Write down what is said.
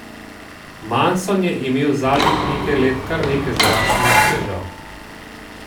Manson je imel zadnjih nekaj let kar nekaj zdravstvenih težav.